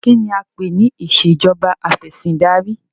Kínní a ń pè ní ìsèjọba afẹ̀sindarí?